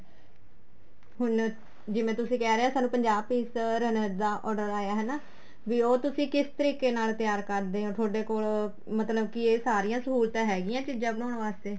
ਹੁਣ ਜਿਵੇਂ ਤੁਸੀਂ ਕਹਿ ਰਹੇ ਹੋ ਸਾਨੂੰ ਪੰਜਾਹ piece ਦਾ runners ਦਾ order ਆਇਆ ਹੈਨਾ ਵੀ ਉਹ ਤੁਸੀਂ ਕਿਸ ਤਰੀਕ਼ੇ ਨਾਲ ਤਿਆਰ ਕਰਦੇ ਹੋ ਤੁਹਾਡੇ ਕੋਲ ਮਤਲਬ ਕੀ ਇਹ ਸਾਰੀਆਂ ਸਹੂਲਤਾ ਹੈਗੀਆਂ ਇਹ ਚੀਜ਼ਾਂ ਬਣਾਉਣ ਵਾਸਤੇ